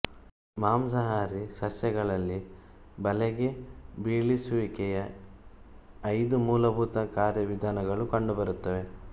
ಮಾಂಸಾಹಾರಿ ಸಸ್ಯಗಳಲ್ಲಿ ಬಲೆಗೆ ಬೀಳಿಸುವಿಕೆಯ ಐದು ಮೂಲಭೂತ ಕಾರ್ಯವಿಧಾನಗಳು ಕಂಡುಬರುತ್ತವೆ